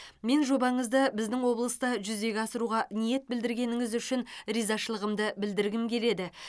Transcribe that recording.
мен жобаңызды біздің облыста жүзеге асыруға ниет білдіргеніңіз үшін ризашылығымды білдіргім келеді